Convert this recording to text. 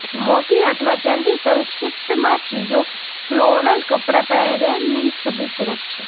મોતી અથવા ચાંદી સંક્ષિપ્તમાં ચીજો ફ્લોરલ કપડાં પહેરે ની છબી પૂરક છે